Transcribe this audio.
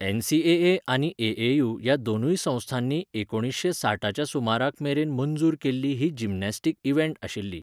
NCAA आनी AAU ह्या दोनूय संस्थांनी एकुणशे साठाच्या सुमाराक मेरेन मंजूर केल्ली ही जिमनास्टीक इव्हेंट आशिल्ली.